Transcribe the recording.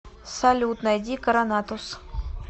салют найди коронатус